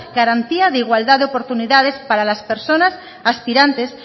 garantía de igualdad de oportunidades para las personas aspirantes